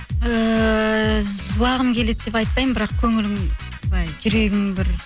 ііі жылағым келеді деп айтпаймын бірақ көңілім былай жүрегім бір